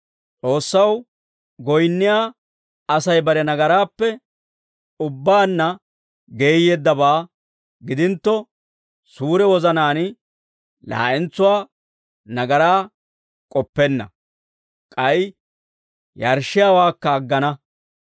S'oossaw goyinniyaa Asay bare nagaraappe ubbaanna geeyyeeddabaa gidintto, suure wozanaan laa'entsuwaa nagaraa k'oppenna; k'ay yarshshiyaawaakka aggana.